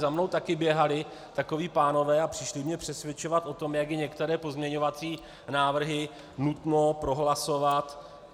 Za mnou také běhali takoví pánové a přišli mě přesvědčovat o tom, jak je některé pozměňovací návrhy nutno prohlasovat.